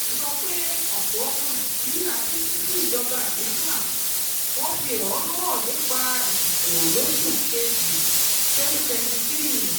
Ó sọ pé ọ̀pọ̀ ọmọ Nàìjíríà bínú sí ìjọba àlééfà, wọ́n fi ẹ̀hónú hàn nípa ìdìbò lóṣù kejì twenty twenty three.